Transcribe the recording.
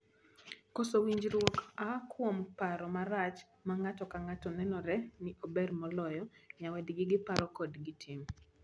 Koso winjruok aa kuom paro marach ma ng'ato ka ng'ato nenore ni ober moloyo nyawadgi giparo kod gitim.